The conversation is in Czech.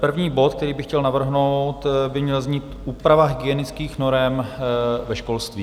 První bod, který bych chtěl navrhnout, by měl znít Úprava hygienických norem ve školství.